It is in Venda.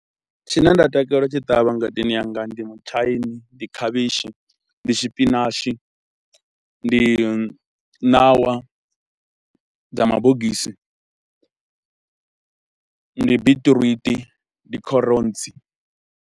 Tshine nda takalela u tshi ṱavha ngadeni yanga ndi mutshaini, ndi khavhishi, ndi tshipinatshi, ndi ṋawa dza mabogisi, ndi biṱiruṱi, ndi kherotsi.